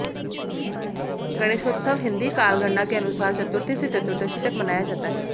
गणेशोत्सव हिंदी कालगणना के अनुसार चतुर्थी से चतुर्दशी तक मनाया जाता है